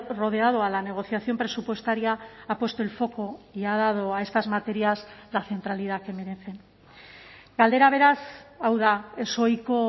rodeado a la negociación presupuestaria ha puesto el foco y ha dado a estas materias la centralidad que merecen galdera beraz hau da ezohiko